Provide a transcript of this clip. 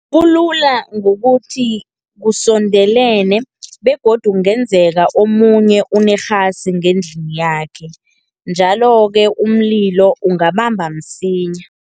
Kulula ngokuthi kusondelene, begodu kungenzeka omunye unerhasi ngendlini yakhe, njalo-ke umlilo ungabamba msinya.